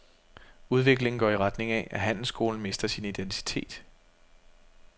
Udviklingen går i retning af, at handelsskolen mister sin identitet.